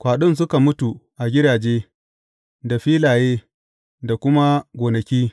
Kwaɗin suka mutu a gidaje, da filaye, da kuma gonaki.